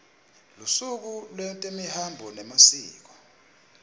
lusuku lwetemihambo nemasiko